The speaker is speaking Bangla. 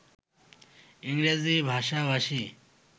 ইংরেজি ভাষাভাষী